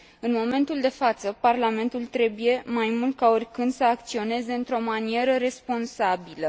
În momentul de față, Parlamentul trebuie, mai mult ca oricând, să acționeze într o manieră responsabilă.